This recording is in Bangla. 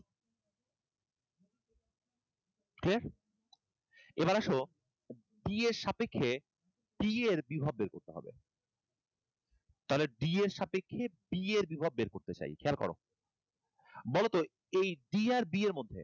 Clear? এবার আসো d এর সাপেক্ষে b এর বিভব বের করতে হবে। তাহলে d এর সাপেক্ষে d এর বিভব বের করতে চাই, খেয়াল করো। বলতো এই d আর b এর মধ্যে,